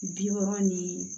Bi wɔɔrɔ ni